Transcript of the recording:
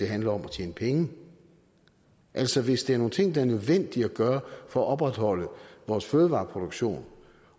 handler om at tjene penge altså hvis det er nogle ting det er nødvendigt at gøre for at opretholde vores fødevareproduktion